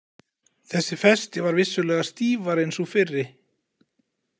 Þessi festi var vissulega stífari en sú fyrri.